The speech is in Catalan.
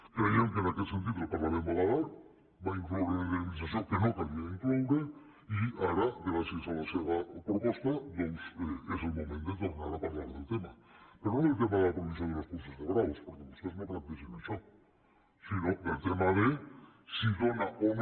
creiem que en aquest sentit el parlament va badar va incloure una indemnització que no calia incloure i ara gràcies a la seva proposta doncs és el moment de tornar a parlar del tema però no del tema de la prohibició de les curses de braus perquè vostès no plantegen això sinó del tema de si dóna o no